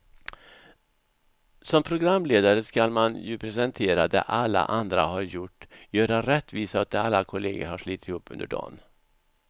Som programledare ska man ju presentera det alla andra har gjort, göra rättvisa åt det alla kollegor har slitit ihop under dagen.